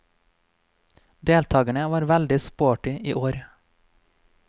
Deltakerne var veldig sporty i år.